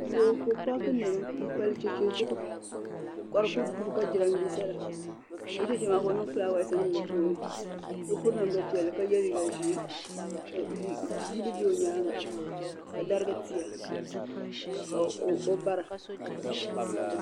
Doo ka ɔ paaki nema. m pali che che. zuɣu. ka di duhi ka. jiran bisala o che che maa. ka ɔniŋ fulaawas niŋ di puuni. kapiri namda piɛlli, ka ye. liiga zee. ka yili. bɛ ɔnyaaŋa. ka dari tiya ka. o bara.